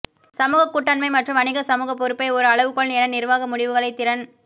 சமூக கூட்டாண்மை மற்றும் வணிக சமூக பொறுப்பை ஒரு அளவுகோல் என நிர்வாக முடிவுகளை திறன்